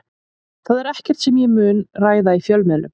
Það er ekkert sem ég mun ræða í fjölmiðlum.